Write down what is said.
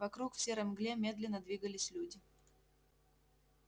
вокруг в серой мгле медленно двигались люди